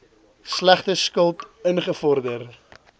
slegte skuld ingevorder